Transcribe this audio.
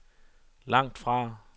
langtfra